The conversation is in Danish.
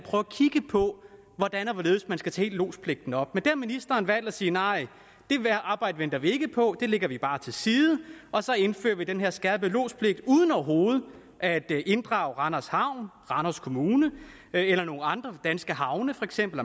kigge på hvordan og hvorledes man skal tage hele lodspligten op men har ministeren valgt at sige nej det arbejde venter vi ikke på det lægger vi bare til side og så indfører vi den her skærpede lodspligt uden overhovedet at inddrage randers havn randers kommune eller nogen andre danske havne for eksempel